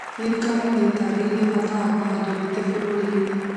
Thirikari nĩ ĩtarĩirie bata wa kũhanda mĩtĩ bũrũri inĩ